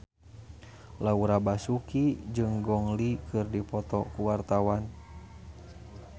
Laura Basuki jeung Gong Li keur dipoto ku wartawan